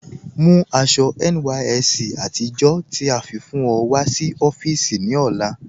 Mú àṣọ̀ NYSC àtìjọ́ tí a fi fún ọ̀ sí ọ̀fíìsí ní ọlá